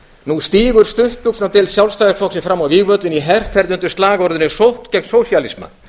nú stígur stuttbuxnadeild sjálfstæðisflokksins fram á vígvöllinn undir slagorðinu sókn gegn sósíalisma